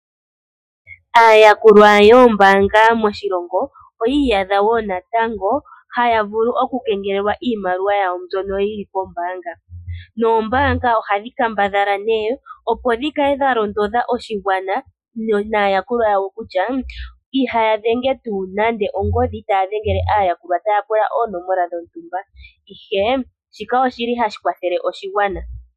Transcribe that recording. Aayakulwa yoombaanga moshilongo oyi iyadha wo natango haya vulu okukengelelwa iimaliwa yawo mbyono yi li koombaanga. Noombaanga ohadhi kambadha opo dhi kale dha londodha oshigwana naayakulwa yawo kutya ihaya dhenge nande ongodhi taa dhengele aayakulwa taa pula oonomola dhontumba. Shika ohashi kwathele oshigwana.